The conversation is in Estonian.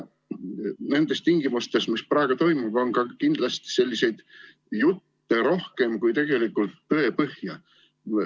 Nendes tingimustes, mis praegu on, on kindlasti jutte rohkem kui tegelikult tõepõhja.